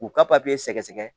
K'u ka papiye sɛgɛsɛgɛ